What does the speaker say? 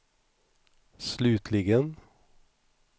slutligen